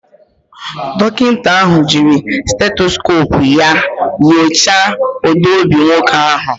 Dọkịta ahụ jiiri stetoskopu nyochaa ụda obi nwoke ahụ